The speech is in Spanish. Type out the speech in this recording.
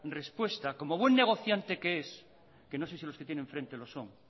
respuesta y como buen negociante que es que no sé si los que tienen en frente lo son